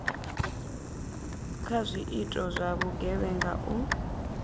kha zwiito zwa vhugevhenga u